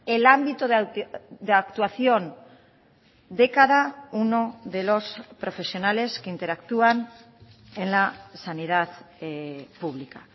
el ámbito de actuación de cada uno de los profesionales que interactúan en la sanidad pública